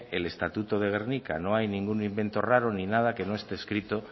el estatuto de gernika no hay ningún invento raro ni nada que no este escrito